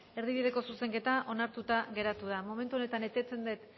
erdibideko zuzenketa onartuta geratu da momentu honetan eteten dut